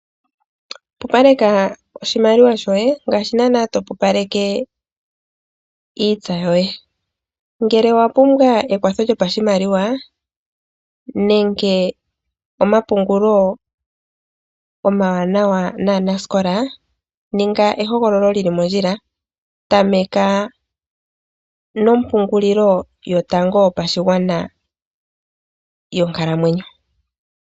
Pupaleka oshimaliwa shoye ngaashi naanaa topupaleke iitsa yoye. Ngele owapumbwa ekwatho lyopashimaliwa nenge omapungulo omawanawa naanasikola, ninga ehogololo lili mondjila, tameka nompungulilo yotango yopashigwana yonkalamwenyo.